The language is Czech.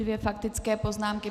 Dvě faktické poznámky.